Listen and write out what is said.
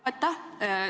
Aitäh!